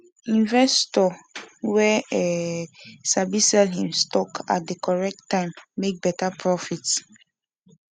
investor wey um sabi sell him stock at the correct time make better profit